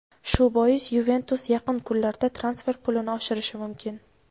Shu bois "Yuventus" yaqin kunlarda transfer pulini oshirishi mumkin.